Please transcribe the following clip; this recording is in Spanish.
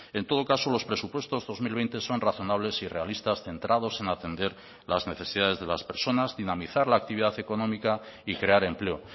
en todo caso los presupuestos dos mil veinte son razonables y realistas centrados en atender las necesidades de las personas dinamizar la actividad económica y crear empleo